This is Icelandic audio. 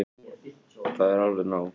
Það er alveg nóg.